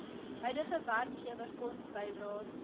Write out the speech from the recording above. huidige werkgewer fondsbydraes